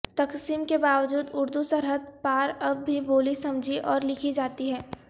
تقسیم کے باوجود اردو سرحد پار اب بھی بولی سمجھی اور لکھی جاتی ہے